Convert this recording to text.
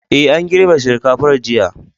Ee, an girbe shinkafar jiya.